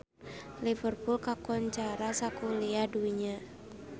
Liverpool kakoncara sakuliah dunya